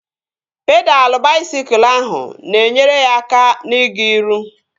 Pedalụ baisikụl ahụ na-enyere ya aka na-ịga iru